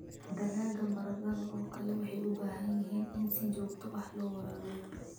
Dalagga sida baradhada oo kale waxay u baahan yihiin in si joogto ah loo waraabiyo.